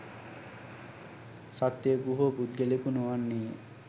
සත්වයකු හෝ පුද්ගලයකු නොවන්නේය.